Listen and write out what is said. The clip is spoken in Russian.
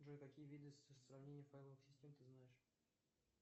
джой какие виды сравнения файловых систем ты знаешь